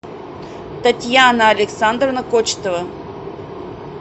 татьяна александровна кочетова